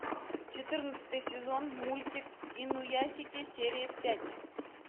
четырнадцатый сезон мультик инуясики серия пять